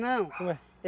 Ué.